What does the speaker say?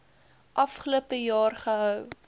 afgelope jaar gehou